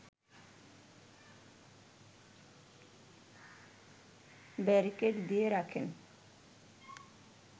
barricade দিয়ে রাখেন